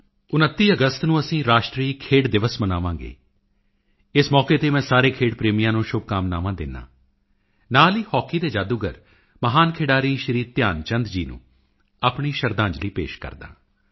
29 ਅਗਸਤ ਨੂੰ ਅਸੀਂ ਰਾਸ਼ਟਰੀ ਖੇਡ ਦਿਵਸ ਮਨਾਵਾਂਗੇ ਇਸ ਮੌਕੇ ਤੇ ਮੈਂ ਸਾਰੇ ਖੇਡ ਪ੍ਰੇਮੀਆਂ ਨੂੰ ਸ਼ੁਭ ਕਾਮਨਾਵਾਂ ਦਿੰਦਾ ਹਾਂ ਨਾਲ ਹੀ ਹਾਕੀ ਦੇ ਜਾਦੂਗਰ ਮਹਾਨ ਖਿਡਾਰੀ ਸ਼੍ਰੀ ਧਿਆਨਚੰਦ ਜੀ ਨੂੰ ਆਪਣੀ ਸ਼ਰਧਾਂਜਲੀ ਪੇਸ਼ ਕਰਦਾ ਹਾਂ